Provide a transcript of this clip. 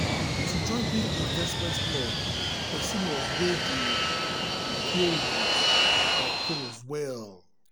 to join big investment club person must weigh the um pros and cons well.